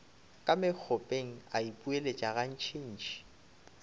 ka mokgopeng a ipoeletša gantšintši